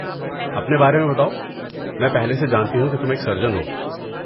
اپنے بارے میں بتاؤ، میں پہلے سے جانتی ہوں کہ تم ایک سرجن ہو۔